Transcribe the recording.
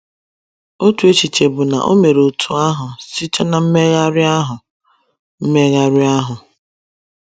Otu echiche bụ na o mere otú ahụ site ná mmegharị ahụ. mmegharị ahụ.